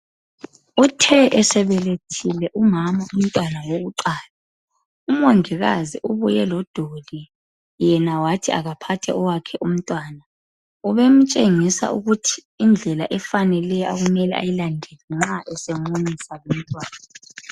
Uthe esebelethile umama umntwana wokuqala ,umongikazi ubuye lo doli, yena wathi akaphathe owakhe umtwana. Ubemtshengisa ukuthi indlela efaneleyo okumele ayilandele nxa semunyisa umntwana.